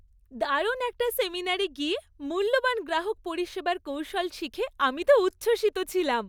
দারুণ একটা সেমিনারে গিয়ে মূল্যবান গ্রাহক পরিষেবার কৌশল শিখে আমি তো উচ্ছ্বসিত ছিলাম।